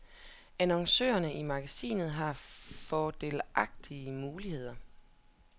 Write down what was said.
Annoncørerne i magasinet har fordelagtige muligheder.